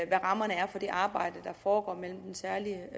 hvad rammerne er for det arbejde der foregår mellem den særlige